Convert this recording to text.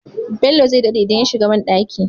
Bello zai daɗe idan ya shiga banɗaki